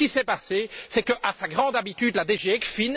Ce qui s'est produit, c'est que, à sa grande habitude, la DG ECFIN